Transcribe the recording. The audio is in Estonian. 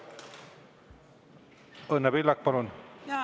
Õnne Pillak, palun!